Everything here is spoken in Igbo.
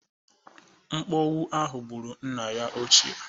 Mpọwụ ahụ gbụrụ nna ya ochie.